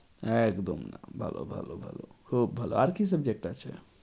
একদম ভালো ভালো ভালো খুব ভালো আর কি subject আছে?